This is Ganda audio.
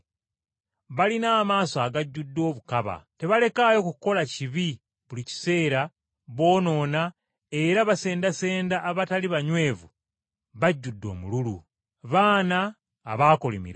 Balina amaaso agajjude obukaba, tebalekaayo kukola kibi buli kiseera boonoona era basendasenda abatali banywevu, bajjudde omululu. Baana abaakolimirwa,